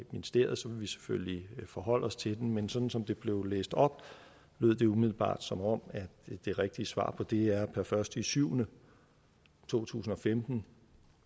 ministeriet så vil vi selvfølgelig forholde os til den men sådan som det blev læst op lyder det umiddelbart som om det rigtige svar på det er per første juli to tusind og femten